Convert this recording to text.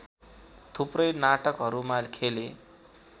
थुप्रै नाटकहरूमा खेले